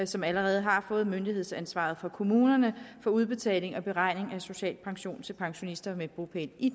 som allerede har fået myndighedsansvaret for kommunerne for udbetaling og beregning af social pension til pensionister med bopæl i